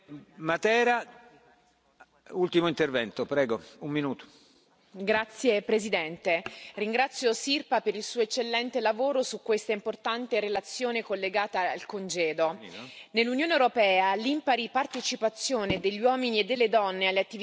Signor Presidente, onorevoli colleghi, ringrazio Sirpa per il suo eccellente lavoro su questa importante relazione collegata al congedo. Nell'Unione europea l'impari partecipazione degli uomini e delle donne alle attività di assistenza e alle incombenze domestiche rimane una sfida continua.